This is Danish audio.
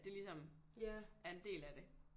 At det ligesom er en del af det